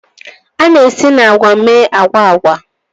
A na-esi na agwa mee agwa agwa.